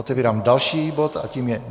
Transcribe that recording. Otevírám další bod a tím je